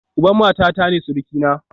Uban matata ne surukina